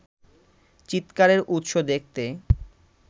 চিৎকারের উৎস দেখতে